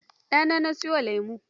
Ɗana na sayo wa lemon.